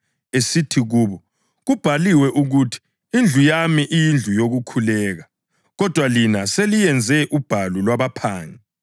esithi kubo, “Kubhaliwe ukuthi, ‘Indlu yami iyindlu yokukhuleka,’ + 19.46 U-Isaya 56.7 kodwa lina seliyenze ubhalu lwabaphangi.” + 19.46 UJeremiya 7.11